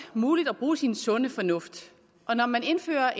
muligt at bruge sin sunde fornuft og når man indfører